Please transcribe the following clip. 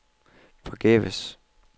forgæves